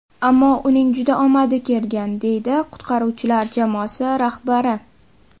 Ammo uning juda omadi kelgan”, deydi qutqaruvchilar jamoasi rahbari.